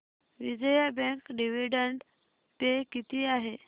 Vijaya bank dividend pay किती आहे